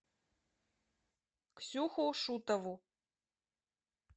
ксюху шутову